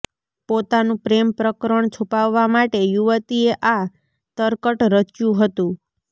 પોતાનું પ્રેમ પ્રકરણ છુપાવવા માટે યુવતીએ આ તરકટ રચ્યું હતું